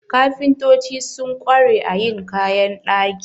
Kafintoci sun ƙware a yin kayan ɗaki.